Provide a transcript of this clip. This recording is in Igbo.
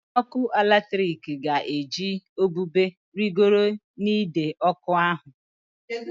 Onye ọkụ eletrik ga-eji ubube rịgoro n'ide ọkụ ahụ